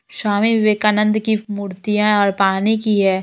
श्वामी विवेकानंद की मूर्तियाँ ए और पानी की है।